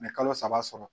kalo saba sɔrɔ